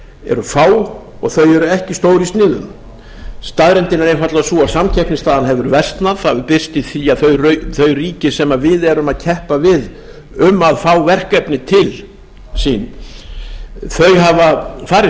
eru fá og þau eru ekki stór í sniðum staðreyndin er einfaldlega sú að samkeppnisstaðan hefur versnað það hefur birst í því að þau ríki sem við erum að keppa við um að fá verkefni til sín hafa farið